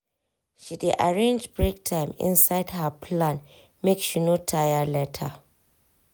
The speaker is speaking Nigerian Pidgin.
she dey arrange break time inside her plan make she no tire later.